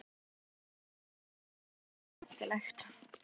Gísli Óskarsson: Hvað var svona skemmtilegt?